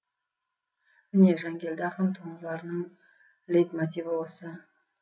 міне жангелді ақын туындыларының лейтмотиві осы